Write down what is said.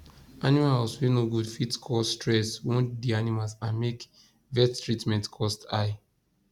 animal house wey no good fit cause stress wound the animals and make vet treatment cost high